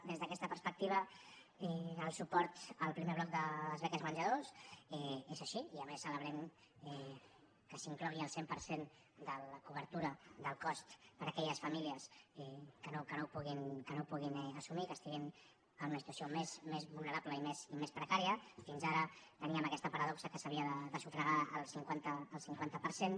des d’aquesta perspectiva el suport al primer bloc de les beques menjador és així i a més celebrem que s’inclogui el cent per cent de la cobertura del cost per a aquelles famílies que no ho puguin assumir que estiguin en una situació més vulnerable i més precària fins ara teníem aquesta paradoxa que s’havia de sufragar el cinquanta per cent